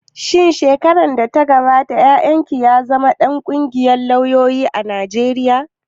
Shin shekarar da ta gabata yayan ki ya zama ɗan ƙungiyar lauyoyin Najeriya